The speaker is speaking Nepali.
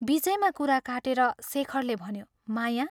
बीचैमा कुरा काटेर शेखरले भन्यो, " माया?